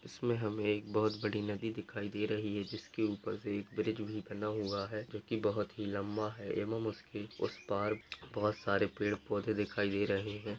इसमें हमें एक बहुत बड़ी नदी दिखाई दे रही है जिसके ऊपर से एक ब्रिज भी बना हुआ हैजो की बहुत ही लम्बा है एवं उसकी उस पार बहुत सारे पेड़ पौधे दिखाई दे रहे है ।